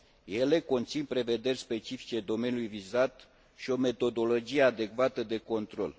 Ele conțin prevederi specifice domeniului vizat și o metodologie adecvată de control.